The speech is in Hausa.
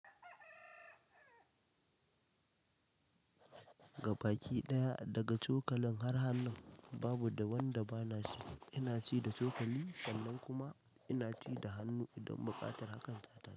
Gabaki ɗaya daga cokalin har hannun, babu wanda bana ci. Ina ci da cokali sannan kuma ina ci da hannu idan buƙatar hakan ta ta.